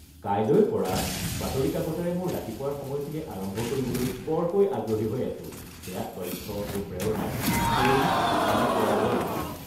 কাইলৈৰ পৰা বাতৰি কাকতেৰে মোৰ ৰাতিপুৱাৰ সময়খিনি আৰম্ভ কৰিবলৈ বৰকৈ আগ্ৰহী হৈ আছোঁ। এয়া তথ্য আৰু প্ৰেৰণাৰ দৈনিক এপালি পোৱাৰ দৰে হ’ব।